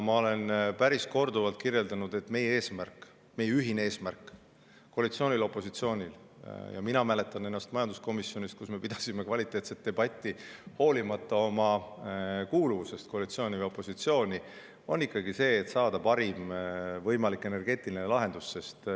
Ma olen korduvalt öelnud, et meie eesmärk, koalitsiooni ja opositsiooni ühine eesmärk – mina mäletan, et majanduskomisjonis me pidasime kvaliteetset debatti hoolimata kuuluvusest koalitsiooni või opositsiooni – on ikkagi saada parim võimalik energeetiline lahendus.